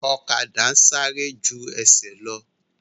Ọ̀kadà sáré ju ẹsẹ̀ lọ